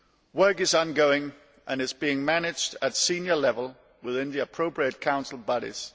Work is ongoing and is being managed at senior level within the appropriate Council bodies.